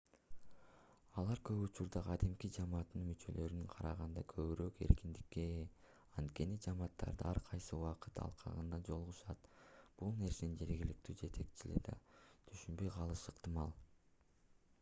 алар көп учурда кадимки жамааттын мүчөлөрүнө караганда көбүрөөк эркиндикке ээ анткени жамааттары ар кайсы убакыт алкагында жолугушат бул нерсени жергиликтүү жетекчилиги да түшүнбөй калышы ыктымал